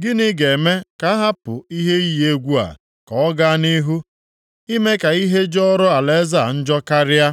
Gịnị ga-eme ka a hapụ ihe iyi egwu a ka ọ gaa nʼihu, ime ka ihe jọrọ alaeze a njọ karịa?